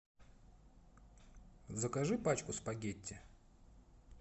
закажи пачку спагетти